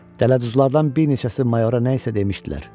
Dələduzlardan bir neçəsi Mayora nə isə demişdilər.